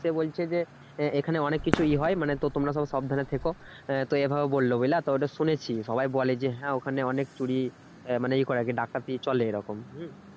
সে বলছে যে এখানে অনেক কিছু ই হয় মানে তোমরা সব সাবধানে থেকো তো এভাবে বললো বুঝলা তো ওটা শুনেছি সবাই বলে যে হ্যাঁ ওখানে অনেক চুরি মানে ই করে আরকি ডাকাতি চলে এরকম। হম